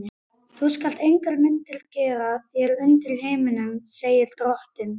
Þú skalt engar myndir gera þér undir himninum, segir drottinn.